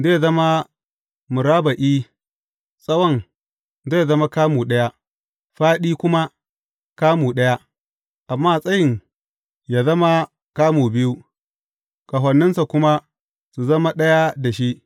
Zai zama murabba’i, tsawon zai zama kamu ɗaya, fāɗi kuma kamu ɗaya, amma tsayin yă zama kamu biyu, ƙahoninsa kuma su zama ɗaya da shi.